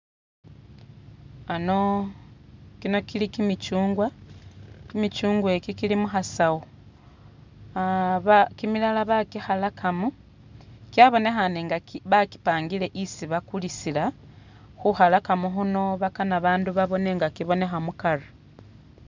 Ano, kino kili kimikyungwa, kimikyungwa iki kili muhasawu, ah baa kimilala bakikhalakamo, kyabonekhane nga ki bakipangile isi bakulisila khukhalakamo khuno bakana babandu babone nga kimonekha mukari